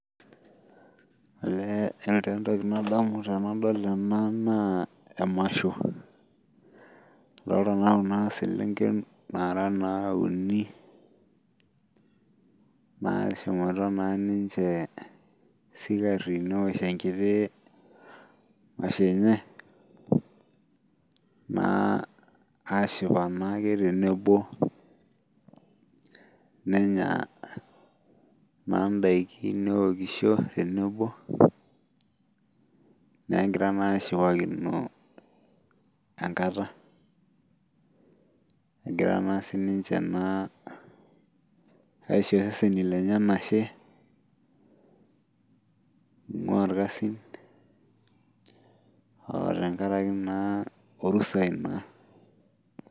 Olee yiolo taa entoki nadamu tenadol ena naa emasho adolta naa kuna selenken naara naa uni nashomoita naa ninche isikarri newosh enkiti masho enye naa ashipa naake tenebo nenya naa indaiki neokisho tenebo negira naa ashipakino enkata egira naa sininche naa aisho iseseni lenye enashe ing'ua irkasin otenkaraki naa orusai naa.